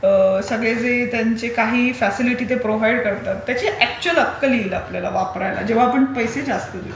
सगळे ते त्यांचे काही फ्यसिलिटीज प्रोव्हाईड करतात त्याची अकचुयल अक्कल येईल आपल्याला वापरायला. जेव्हा आपण पैसे जास्ती देऊ.